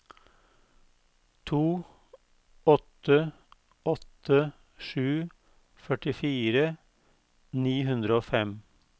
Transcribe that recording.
to åtte åtte sju førtifire ni hundre og fem